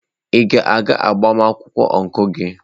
Ị ga-aga agbamakwụkwọ ọncụl gị?